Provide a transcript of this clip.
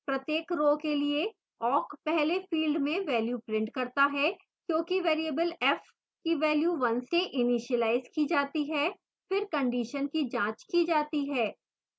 प्रत्येक row के लिए awk पहले field में value prints करता है क्योंकि variable f की value 1 से इनीशिलाइज की जाती है फिर condition की जाँच की जाती है